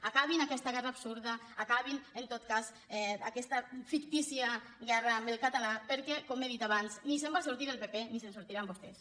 acabin aquesta guerra absurda acabin en tot cas aquesta fictícia guerra amb el català perquè com he dit abans ni se’n va sortir el pp ni se’n sortiran vostès